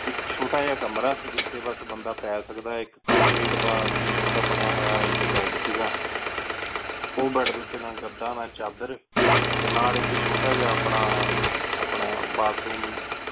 ਇਕ ਛੋਟਾ ਜਯਾ ਕਮਰਾ ਸੀ ਜਿਥਯ ਬਾਸ ਬੰਦਾ ਪੀ ਸਕਦਾ ਇਕ Concrete ਦਾ ਚੇਮੇੰਟ ਦਾ ਬਨਯ ਹੋਯਾ ਇਕ ਬੇਦ ਸੀ ਗਾ ਓਹ ਬੇਦ ਊਟੀ ਨਾ ਗਦਾ ਨਾ ਚਾਦਰ ਟੀ ਨਾਲ ਇਕ ਛੋਟਾ ਜਯਾ ਪਾਨਾ ਆਪਣਾ ਬਾਥਰੂਮ